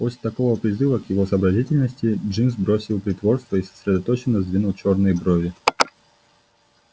после такого призыва к его сообразительности джимс бросил притворство и сосредоточенно сдвинул чёрные брови